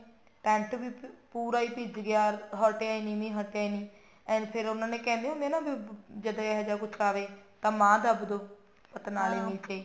tent ਵੀ ਪੂਰਾ ਹੀ ਭਿੱਜ ਗਿਆ ਹਟਿਆ ਹੀ ਨੀ ਮੀਂਹ ਹਟਿਆ ਹੀ ਨੀ ਤੇ ਫੇਰ ਉਹਨਾ ਨੇ ਕਹਿੰਦੇ ਹੁੰਦੇ ਆ ਵੀ ਜਦ ਇਹੋ ਜਿਹਾ ਕੁੱਝ ਆਵੇ ਤਾਂ ਮਾਂਹ ਦੱਬ ਦੋ ਪਤਨਾਲੇ ਨੀਚੇ